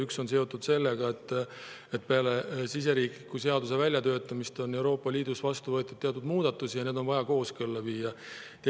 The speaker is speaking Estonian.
Üks osa on seotud sellega, et peale siseriikliku seaduse väljatöötamist on Euroopa Liidus vastu võetud teatud muudatusi ja on vaja kooskõlla viia.